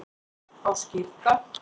á skírdag